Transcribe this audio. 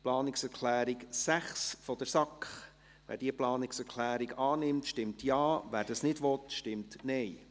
Zur Planungserklärung 6 der SAK: Wer diese Planungserklärung annimmt, stimmt Ja, wer dies nicht will, stimmt Nein.